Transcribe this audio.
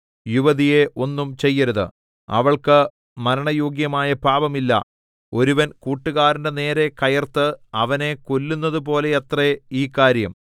യുവതിയെ ഒന്നും ചെയ്യരുത് അവൾക്ക് മരണയോഗ്യമായ പാപമില്ല ഒരുവൻ കൂട്ടുകാരന്റെ നേരെ കയർത്ത് അവനെ കൊല്ലുന്നതുപോലെയത്രേ ഈ കാര്യം